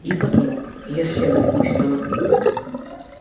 и подумал если оглянусь то